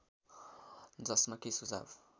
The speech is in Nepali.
जसमा के सुझाव